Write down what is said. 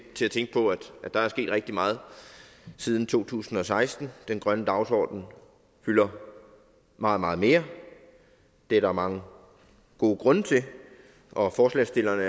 til at tænke på at der er sket rigtig meget siden to tusind og seksten den grønne dagsordenen fylder meget meget mere det er der mange gode grunde til og forslagsstillerne